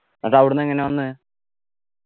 അന്നിട്ട് അവിടെന്നെങ്ങനാ വന്നെ